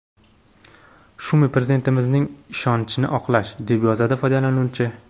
Shumi, Prezidentimizning ishonchini oqlash?”, deb yozadi foydalanuvchi.